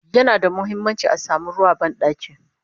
yana da muhimmanci a samu ruwa a banɗaki